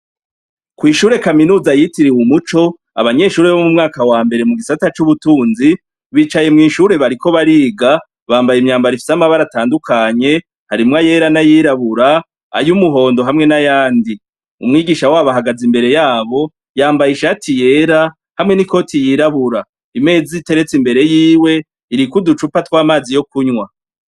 Kw'ishure kaminutsa yitiriwe umuco, abanyeshure bo mu mwaka wa mbere mu gisata c'ubutunzi bicaye mw'ishure bariko bariga bambaye imyambaro ifise amabara atandukanye harimwo ayera n'ayirabura ,ay'umuhondo hamwe n'ayandi , umwigisha wabo ahagaze imbere yabo yambaye ishati yera hamwe n'ikoti yirabura, imeza iteretse imbere yiwe iriko uducupa tw'amazi yo kunwa.